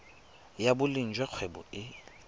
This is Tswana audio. ya boleng jwa kgwebo e